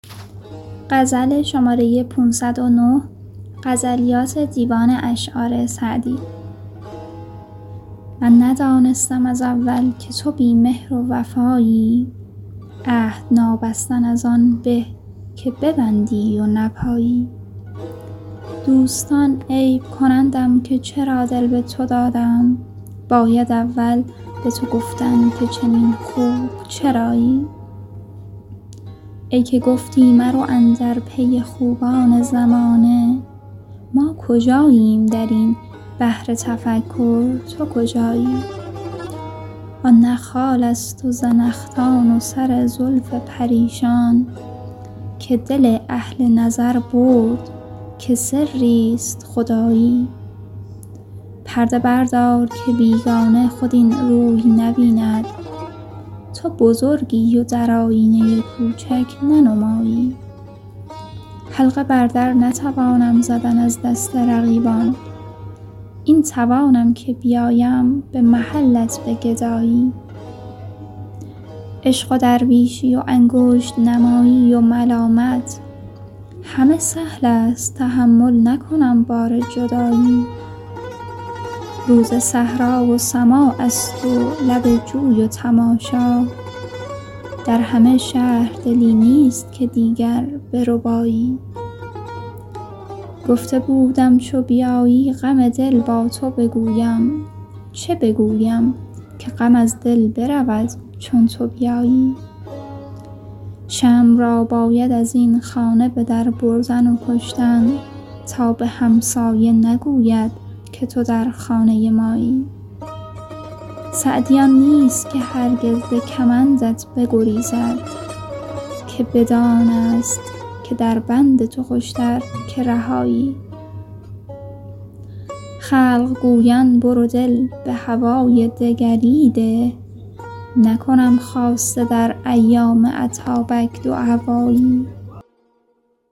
من ندانستم از اول که تو بی مهر و وفایی عهد نابستن از آن به که ببندی و نپایی دوستان عیب کنندم که چرا دل به تو دادم باید اول به تو گفتن که چنین خوب چرایی ای که گفتی مرو اندر پی خوبان زمانه ما کجاییم در این بحر تفکر تو کجایی آن نه خالست و زنخدان و سر زلف پریشان که دل اهل نظر برد که سریست خدایی پرده بردار که بیگانه خود این روی نبیند تو بزرگی و در آیینه کوچک ننمایی حلقه بر در نتوانم زدن از دست رقیبان این توانم که بیایم به محلت به گدایی عشق و درویشی و انگشت نمایی و ملامت همه سهلست تحمل نکنم بار جدایی روز صحرا و سماعست و لب جوی و تماشا در همه شهر دلی نیست که دیگر بربایی گفته بودم چو بیایی غم دل با تو بگویم چه بگویم که غم از دل برود چون تو بیایی شمع را باید از این خانه به در بردن و کشتن تا به همسایه نگوید که تو در خانه مایی سعدی آن نیست که هرگز ز کمندت بگریزد که بدانست که در بند تو خوشتر که رهایی خلق گویند برو دل به هوای دگری ده نکنم خاصه در ایام اتابک دوهوایی